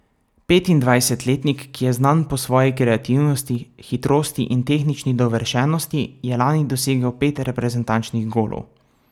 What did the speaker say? Petindvajsetletnik, ki je znan po svoji kreativnosti, hitrosti in tehnični dovršenosti, je lani dosegel pet reprezentančnih golov.